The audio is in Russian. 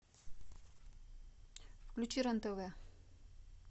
включи рен тв